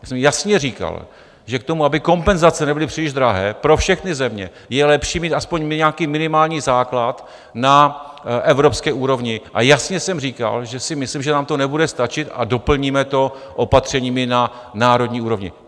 Já jsem jasně říkal, že k tomu, aby kompenzace nebyly příliš drahé pro všechny země, je lepší mít aspoň nějaký minimální základ na evropské úrovni, a jasně jsem říkal, že si myslím, že nám to nebude stačit a doplníme to opatřeními na národní úrovni.